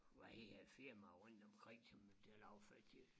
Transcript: Hvad hedder det firmaer rundt omkring som vi betaler affald til